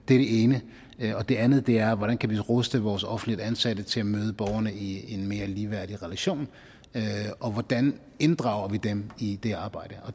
det ene det andet er hvordan vi kan ruste vores offentligt ansatte til at møde borgerne i en mere ligeværdig relation og hvordan vi inddrager dem i det arbejde